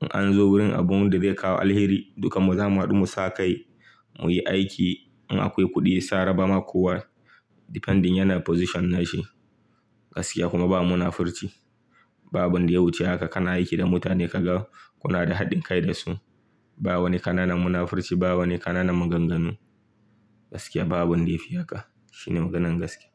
In an zo wurin abun da zai kawo alheri dukanmu za mu haɗu mu sakai, mu yi aiki. In akwai kuɗi sai a raba ma kowa, depending yana position na shi. Gaskiya kuma ba munafurci. Ba abun da ya wuce haka kana aiki da mutane ka ga kuna da haɗin kai da su. Ba wani ƙananan munafurci, ba wani ƙananan maganganu. Gaskiya ba abun da ya fi haka. Shine maganan gaskiya.